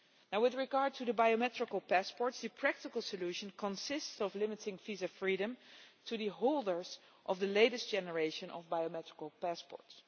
With regard to the biometric passports, the practical solution consists of limiting visa freedom to the holders of the latest generation of biometric passports.